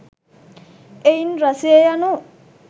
එහෙයින් රසය යනු